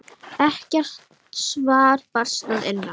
Ekkert svar barst að innan.